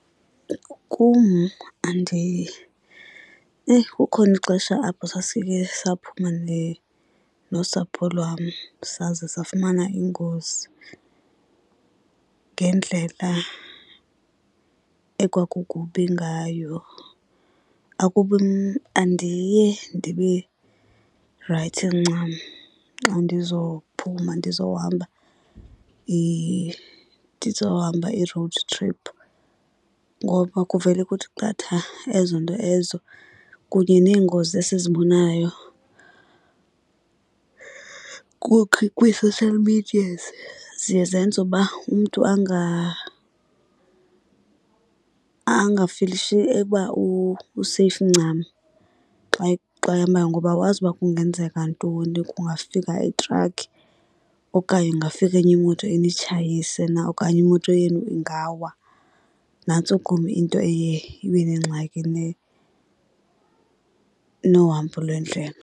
Kum eyi, kukhona ixesha apho sasikhe saphuma nosapho lwam saze safumana ingozi. Ngendlela ekwakukubi ngayo akubi andiye ndibe rayithi ncam xa ndizophuma ndizohamba ndizohamba i-road trip ngoba kuvele kuthi qatha ezo nto ezo. Kunye neengozi esizibonayo kwii-social medias, ziye zenze uba umntu angafilishi eba useyifu ncam xa ehambayo ngoba awazi ukuba kungenzeka ntoni. Kungafika itrakhi okanye kungafika enye imoto initshayise na okanye imoto yenu ingawa. Nantso kum into eye ibe nengxaki nohambo lwendlela.